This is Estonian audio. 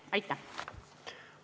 Aitäh!